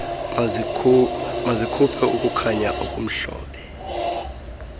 mazikhuphe ukukhanya okumhlophe